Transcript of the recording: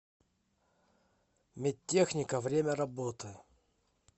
медтехника время работы